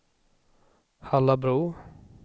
Hallabro